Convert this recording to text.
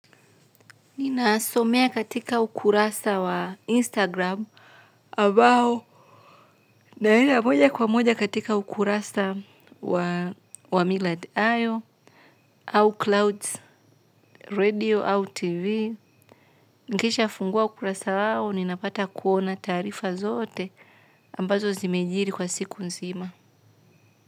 Ninasomea katika ukurasa wa Instagram ambao naenda moja kwa moja katika ukurasa wa Miladio au Clouds Radio au TV. Nikishafungua ukurasa wao, ninapata kuona taarifa zote ambazo zimejiri kwa siku nzima.